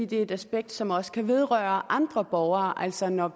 det er et aspekt som også kan vedrøre andre borgere altså når